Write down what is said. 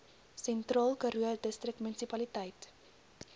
sentraal karoo distriksmunisipaliteit